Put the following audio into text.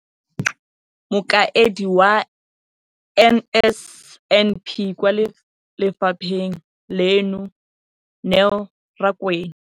Mokaedi wa NSNP kwa lefapheng leno, Neo Rakwena,